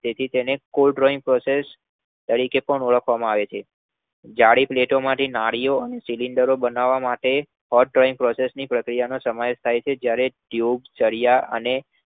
તો તેને Called drawing process કહે છે. જાડી pleto માંથી નળીઓ અને cylinders બનાવવા માટે hot drawing process નો ઉપયોગ થાય છે, જ્યારે ટ્યૂબ, સળિયા અને